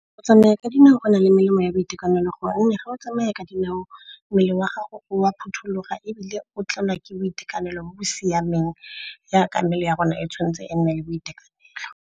Go tsamaya ka dinao go na le melemo ya boitekanelo, gonne ga o tsamaya ka dinao mmele wa gago wa phuthuloga ebile o tlelwa ke boitekanelo bo bo siameng yaka mmele ya rona e tshwanetse e nne le boitekanelo.